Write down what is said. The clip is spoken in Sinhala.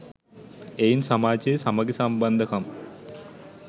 එයින් සමාජයේ සමඟි සම්බන්ධකම්